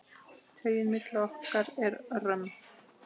Taugin milli okkar er römm.